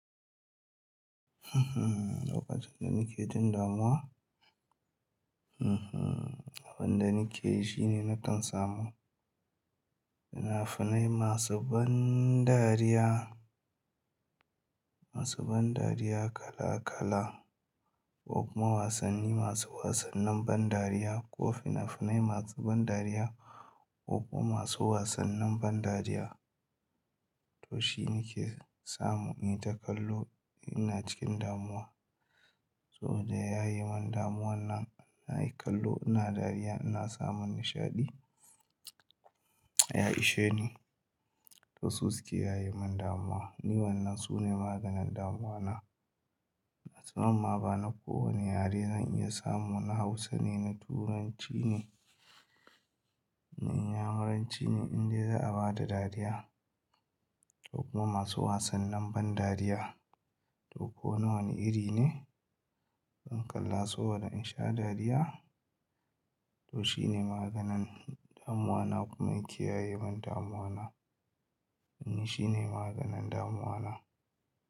Lokacin da nake jin damuwa, abin da nake ji ne na kan samu. Fina-finai masu ban dariya, masu ban dariya kala-kala ko kuma wasanni masu wasannin ban dariya ko fina-finai masu ban dariya ko kuma masu wasannin ban dariya. To shi nike samu in yi ta kallo ina cikin damuwa. So da ya ye mun damuwa nan, na yi kallo ina dariya ina samun nishaɗi, ya ishe ni. To su suke ya ye mun damuwa. Ni wannan su ne maganin damuwa na. Sabama ba na kowane yare zan iya samu na Hausa ne, na Turanci ne, na Inyamuranci ne inda za'a bada dariya ko kuma masu wasannin ban dariya ko nawa ne iri ne. In kalla saboda in sha dariya to shi ne maganin damuwa na kuma yake ya yi mun damuwa na. E shi ne maganin damuwa na.